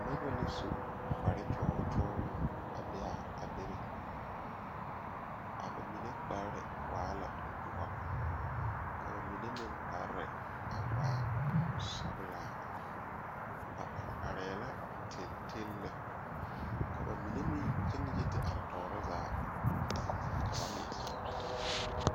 Noba la su kparekyɔɔ kyɔɔ a be a a bebe a ba mine kpare waa la doɔ ka ba mine meŋ kpare a waa sɔglaa ba are arɛɛ la teli teli lɛ ka ba mine meŋ gyɛŋ yi te are tɔɔre zaa ka ba leɛ kyaare taa.